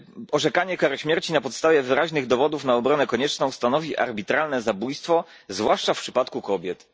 orzekanie kary śmierci na podstawie wyraźnych dowodów na obronę konieczną stanowi arbitralne zabójstwo, zwłaszcza w przypadku kobiet.